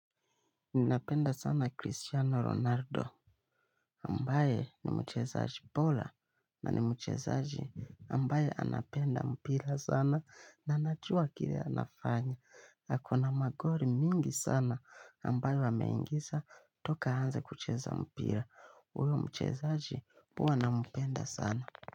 Ninapenda sana Cristiano Ronaldo Ambaye ni mchezaji bora na ni mchezaji ambaye anapenda mpira sana na anajua kile anafanya ako na magoli mingi sana ambaye ameingisa toka aanze kucheza mpira huyu mchezaji huwa nampenda sana.